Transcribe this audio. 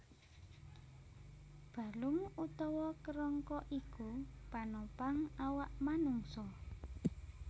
Balung utawa kerangka iku panopang awak manungsa